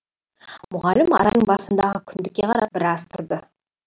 мұғалім арайдың басындағы күндікке қарап біраз тұрды